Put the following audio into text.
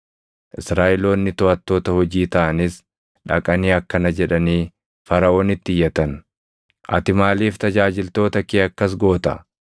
Israaʼeloonni toʼattoota hojii taʼanis dhaqanii akkana jedhanii Faraʼoonitti iyyatan; “Ati maaliif tajaajiltoota kee akkas goota?